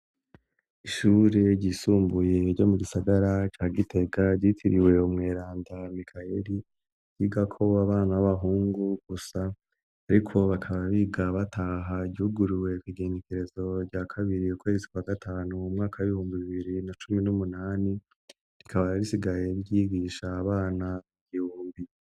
Ishure ryisumbuye ryo mu gisagara ca gitega ryitiriwey mweranta mikayeli giga ko w' abana b'abahungu gusa, ariko bakaba biga bataha ryuguriwe kigengekerezo rya kabiriye kwegitswa gatanu mu mwaka bibumba bibiri na cumi n'umunani rikabararisigaye vyigia isha abana geombi.